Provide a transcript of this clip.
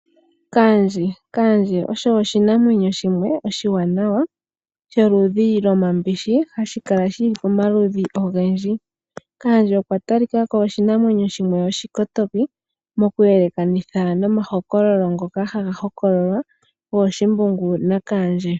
Kaandje! Kaandje osho oshinamwenyo shimwe oshiwanawa sholudhi lwomambishi hashikala shili pamaludhi ogendji. Kaandje okwa talikako oshinamwenyo shimwe oshikotoki mokuyelekanitha nomahokololo ngoka haga hokololwa gooshimbungu na kaandje.